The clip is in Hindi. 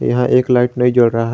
यहां एक लाइट नहीं जल रहा है।